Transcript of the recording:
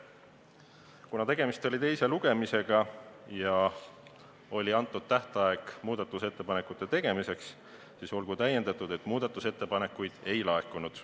Kuna tegemist oli teise lugemisega ja oli antud tähtaeg muudatusettepanekute tegemiseks, siis olgu tähendatud, et muudatusettepanekuid ei laekunud.